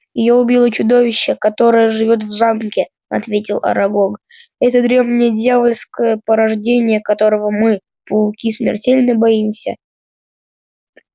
её убило чудовище которое живёт в замке ответил арагог это древнее дьявольское порождение которого мы пауки смертельно боимся